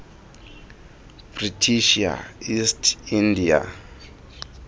british east india